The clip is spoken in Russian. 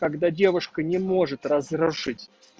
когда девушка не может разрушить